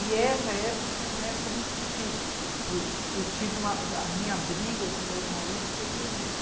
E essa época foi uma época muito difícil, porque eu tive, porque a minha briga com o meu ex-marido foi ferrenha.